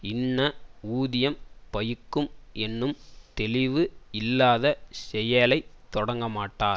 இன்ன ஊதியம் பயிக்கும் என்னும் தெளிவு இல்லாத செயலை தொடங்கமாட்டார்